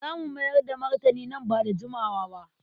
Za mu mayar da martani nan ba da jimawa ba.